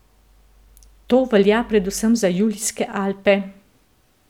To velja predvsem za Julijske Alpe.